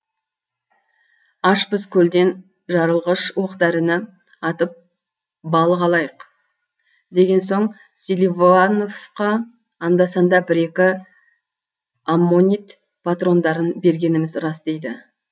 ашпыз көлден жарылғыш оқ дәріні атып балық алайық деген соң селивоановқа анда санда бір екі аммонит патрондарын бергеніміз рас дейді